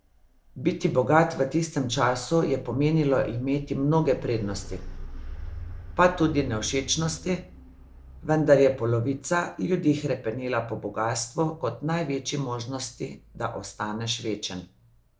Biti bogat v tistem času je pomenilo imeti mnoge prednosti, pa tudi nevšečnosti, vendar je polovica ljudi hrepenela po bogastvu kot največji možnosti, da ostaneš večen.